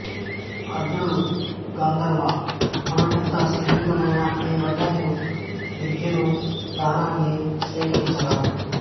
అర్జునుడు గంధర్వా మనం ఎంత స్నేహితులమైనా నీ వద్ద నేను విద్యను ధనాన్ని స్వీకరించరాదు